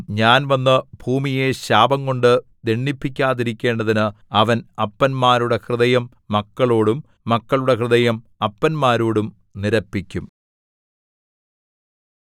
ഞാൻ വന്നു ഭൂമിയെ ശാപംകൊണ്ടു ദണ്ഡിപ്പിക്കാതിരിക്കേണ്ടതിന് അവൻ അപ്പന്മാരുടെ ഹൃദയം മക്കളോടും മക്കളുടെ ഹൃദയം അപ്പന്മാരോടും നിരപ്പിക്കും